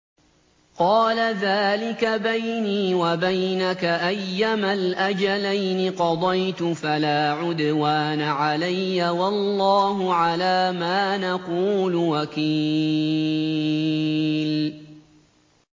قَالَ ذَٰلِكَ بَيْنِي وَبَيْنَكَ ۖ أَيَّمَا الْأَجَلَيْنِ قَضَيْتُ فَلَا عُدْوَانَ عَلَيَّ ۖ وَاللَّهُ عَلَىٰ مَا نَقُولُ وَكِيلٌ